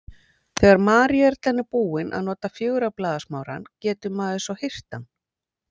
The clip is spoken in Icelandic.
Þegar maríuerlan er búin að nota fjögurra blaða smárann getur maður svo hirt hann.